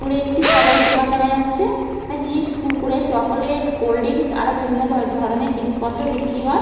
দূরে একটি খাবারের দোকান দেখা যাচ্ছে। চিপস কুড়কুড়ে চকলেট কোল্ড ড্রিঙ্কস আরো বিভিন্ন ধরণের জিনিসপত্র বিক্রি হয়।